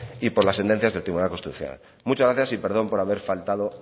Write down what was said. y por las sentencias del tribunal constitucional muchas gracias y perdón por haber faltado